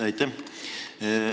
Aitäh!